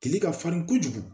Tile ka farin kojugu